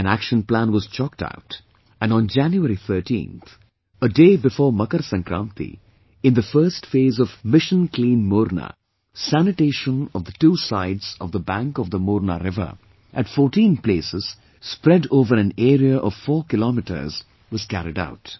An action plan was chalked out and on January 13 th a day before MakarSankranti, in the first phase of Mission Clean Morna sanitation of the two sides of the bank of the Morna river at fourteen places spread over an area of four kilometers, was carried out